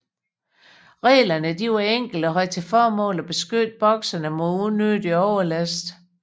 Reglerne var enkle og havde til formål at beskytte bokserne mod unødig overlast